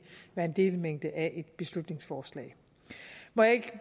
være en delmængde af et beslutningsforslag må jeg ikke